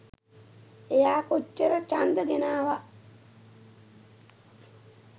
එයා කොච්චර ඡන්ද ගෙනාව